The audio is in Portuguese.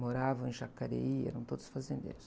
Moravam em Jacareí, eram todos fazendeiros.